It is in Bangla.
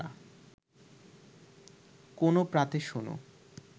কোনো প্রাতে শোনা